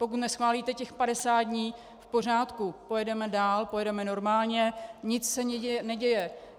Pokud neschválíte těch 50 dní, v pořádku, pojedeme dál, pojedeme normálně, nic se neděje.